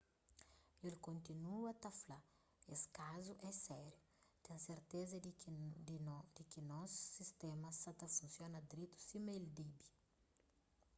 el kontinua ta fla es kazu é sériu ten serteza di ki nos sistéma sa ta funsiona dretu sima el debe